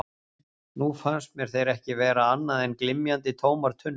Nú fannst mér þeir ekki vera annað en glymjandi, tómar tunnur.